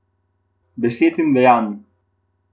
Besed in dejanj.